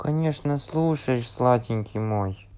конечно слушаешь сладенький мой